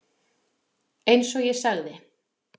Eins og ég sagði.